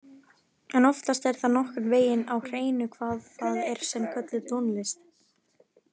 En oftast er það nokkurn veginn á hreinu hvað það er sem við köllum tónlist.